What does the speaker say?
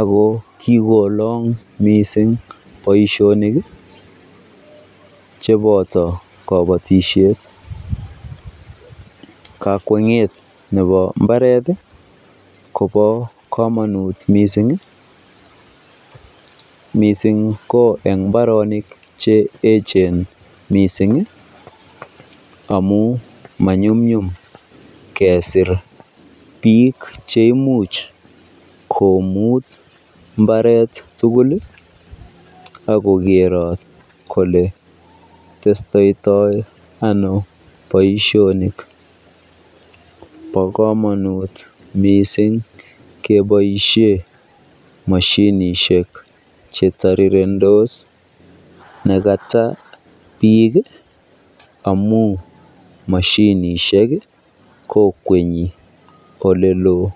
ak ko kikolong mising boishonik cheboto kobotishet, kakwenget nebo imbaret kobo komonut mising, mising ko eng mbaronik che echen mising amun manyumnyum kesir biik cheimuch komut mbaret tukul ak kokerot kolee testoto ano boishonik, bokomonut mising keboishen moshinishek chetirirendos nekata biik amun moshinishek kokwenyi oleloo.